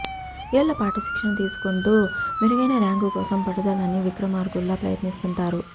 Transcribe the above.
ఏళ్ల పాటు శిక్షణ తీసుకుంటూ మెరుగైన ర్యాంకు కోసం పట్టువదలని విక్రమార్కుల్లా ప్రయత్నిస్తుంటారు